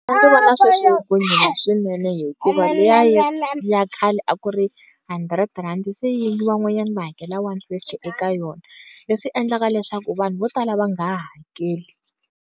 vona sweswi loko yi nghena swinene, hikuva liya ya ya khale a ku ri hundred rand-i se van'wanyani va hakela one fifty eka yona, leswi endlaka leswaku vanhu vo tala va nga ha hakeli.